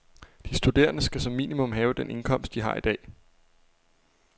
De studerende skal som minimum have den indkomst, de har i dag.